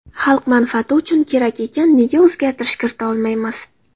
Xalq manfaati uchun kerak ekan, nega o‘zgartirish kirita olmaymiz?